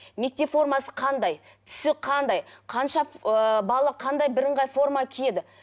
мектеп формасы қандай түсі қандай қанша ыыы бала қандай бірыңғай форма киеді